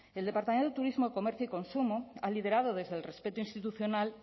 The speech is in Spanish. el departamento de turismo comercio y consumo ha liderado desde el respeto institucional